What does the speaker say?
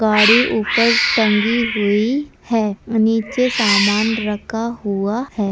गाड़ी ऊपर टगी हुई है नीचे सामान रखा हुआ है।